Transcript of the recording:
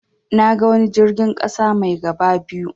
Naga wani jirgin ƙasa mai gaba biyu.